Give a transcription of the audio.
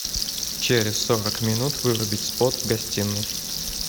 через сорок минут вырубить спот в гостиной